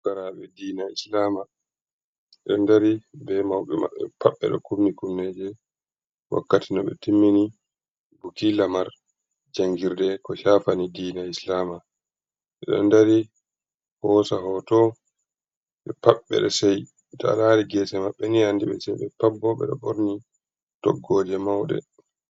Fukaraaɓe diina islama ɓe ɗo dari be mawɓe maɓɓe pat. Ɓe ɗo kufuni kufuneeje wakkati no ɓe timmini buki lamar jangirde ko cafani diina islama. Ɓe ɗo ndari hoosa hooto ɓe pat ɓe ce'i. To a laari geese maɓɓe a andi ɓe ce'i ,ɓe pat bo ɓe ɗo borni toggooje mawɗe.